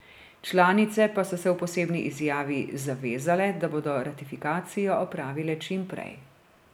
Članice pa so se v posebni izjavi zavezale, da bodo ratifikacijo opravile čim prej.